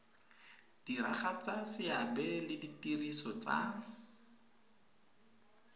diragatsa seabe le ditiro tsa